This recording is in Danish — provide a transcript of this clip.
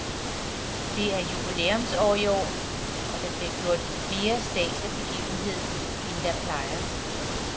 Det er jubilæumsår i år, og der bliver gjort mere stads af begivenheden, end der plejer.